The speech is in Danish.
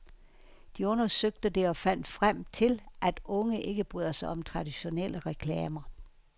De undersøgte det og fandt frem til, at unge ikke bryder sig om traditionelle reklamer.